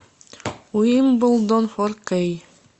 уимблдон фор кей